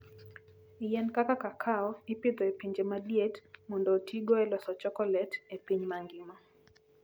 Yien kaka kakao ipidho e pinje ma liet mondo otigo e loso chokolet e piny mangima.